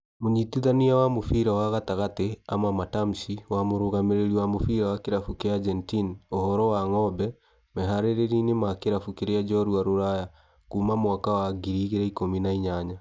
Mũnyitithania wa mũbĩra wa gatagatĩ Ama Matamshi wa Mũrũgamĩrĩri wa mũbĩra wa kĩrabu kĩa Argentine ũhoro wa ng'ombe, meharĩria-inĩ ma kĩrabu kĩrĩa njorua Rũraya Kuma mwaka wa ngiri igĩrĩ ikũmi na inyanya